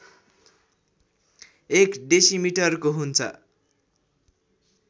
एक डेसिमिटरको हुन्छ